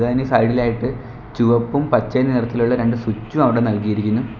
അതിന് സൈഡിലായിട്ട് ചുവപ്പും പച്ചയും നിറത്തിലുള്ള രണ്ട് സ്വിച്ചും അവടെ നൽകിയിരിക്കുന്നു.